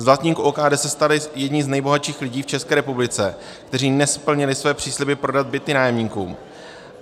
Z vlastníků OKD se stali jedni z nejbohatších lidí v České republice, kteří nesplnili své přísliby prodat byty nájemníkům.